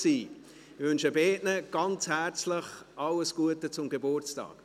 Ich wünsche beiden ganz herzlich alles Gute zum Geburtstag.